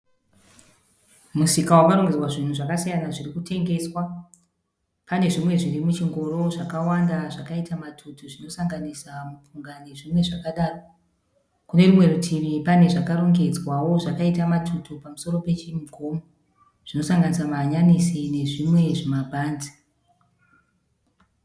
Musika wakarongedzwa zvinhu zvakasiyana zvirikutengeswa. Pane zvimwe zviri muchingoro zvakawanda zvakaita matutu zvinosanganisa mupunga nezvimwe zvakadaro. Kune rumwe rutivi pane zvakarongedzwawo zvakaita matutu pamusoro pechimugomo zvinosanganisa mahanyanisi nezvimwe zvimabhanzi.